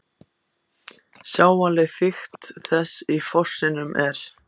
Sjáanleg þykkt þess í fossinum er